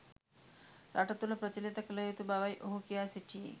රට තුල ප්‍රචලිත කල යුතු බවයි ඔහු කියා සිටියේ.